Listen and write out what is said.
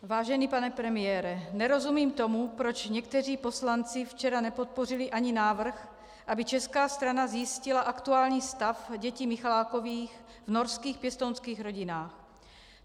Vážený pane premiére, nerozumím tomu, proč někteří poslanci včera nepodpořili ani návrh, aby česká strana zjistila aktuální stav dětí Michalákových v norských pěstounských rodinách.